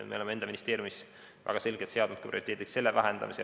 Me oleme enda ministeeriumis väga selgelt seadnud prioriteediks selle vähendamise.